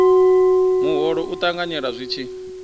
muholo u ṱanganyelwa zwi tshi